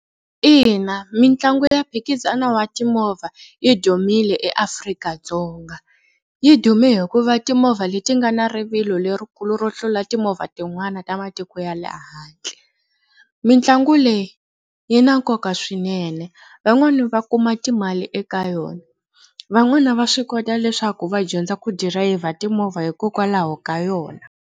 Ina mitlangu ya mphikizano wa timovha yi dumile eAfrika-Dzonga. Yi dume hikuva timovha leti nga na rivilo lerikulu ro tlula timovha tin'wana ta matiko ya le handle. Mitlangu leyi yi na nkoka swinene van'wani va kuma timali eka yona van'wani va swi kota leswaku va dyondza ku dirayivha timovha hikokwalaho ka yona.